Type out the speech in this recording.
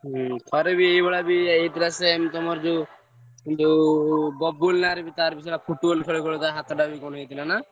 ହୁଁ ଥରେ ବି ଏଇଭଳିଆ ବି ହେଇଥିଲା same ତମର ଯୋଉ ଯୋଉ ବବୁଲ ନାରେ ବି ତାର ବି ସେୟା Football ଖେଳୁଖେଳୁ ତା ହାତଟା ବି କଣ ହେଇଥିଲା ନା?